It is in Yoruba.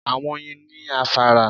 Àwọn Oyin ni afárá